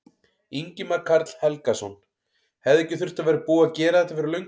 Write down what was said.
Ingimar Karl Helgason: Hefði ekki þurft að vera búið að gera þetta fyrir löngu?